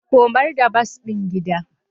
Komar da bas din gida.